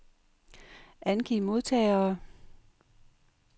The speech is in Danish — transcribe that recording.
Angiv modtagere.